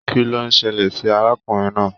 Kín ló ṣẹlẹ sí arákùnrin náà?